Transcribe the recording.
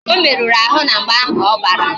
O meruru ahụ na mgba ahụ ọ gbara